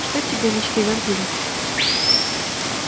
что тебе мечты вампира